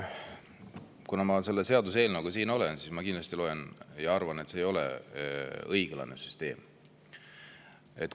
Kuna ma selle seaduseelnõuga siin olen, siis ma kindlasti arvan, et see ei ole õiglane süsteem.